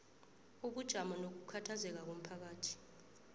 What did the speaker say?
ubujamo nokukhathazeka komphakathi